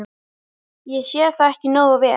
. ég sá það ekki nógu vel.